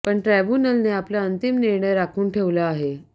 पण ट्राब्यूनलने आपला अंतिम निर्णय राखून ठेवला आहे